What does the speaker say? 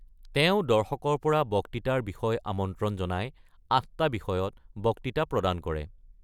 তেওঁ দৰ্শকৰ পৰা বক্তৃতাৰ বিষয় আমন্ত্ৰণ জনাই আঠটা বিষয়ত বক্তৃতা প্ৰদান কৰে।